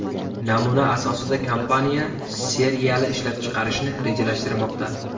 Namuna asosida kompaniya seriyali ishlab chiqarishni rejalashtirmoqda.